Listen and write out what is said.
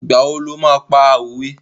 Ìgbà wo lo máa pa òwe?